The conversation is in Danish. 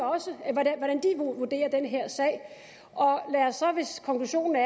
vurderer den her sag og hvis konklusionen er